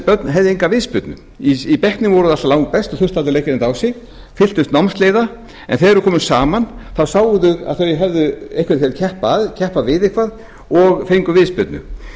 börn höfðu enga viðspyrnu í bekknum voru þau alltaf langbest og þurftu aldrei að leggja neitt á sig fylltust námsleiða en þegar þau komu saman sáu þau að þau höfðu eitthvað til að keppa að keppa við eitthvað og fengu viðspyrnu